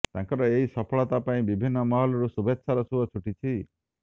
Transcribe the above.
ତାଙ୍କର ଏହି ସଫଳତା ପାଇଁ ବିଭିନ୍ନ ମହଲରୁ ଶୁଭେଛାର ସୁଅ ଛୁଟିଛି